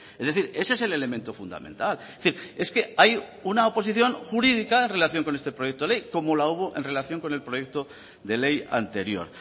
es decir ese es el elemento fundamental es decir es que hay una oposición jurídica en relación con este proyecto de ley como la hubo en relación con el proyecto de ley anterior